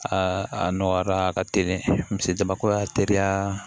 Aa a nɔgɔyara a ka teli jama ko y'a teliya